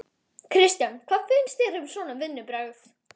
Kristján: Hvað finnst þér um svona vinnubrögð?